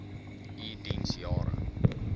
u diens jare